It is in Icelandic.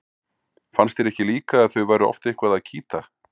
Fannst þér ekki líka að þau væru oft eitthvað að kýta?